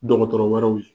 Dɔgɔtɔrɔ wɛrɛw ye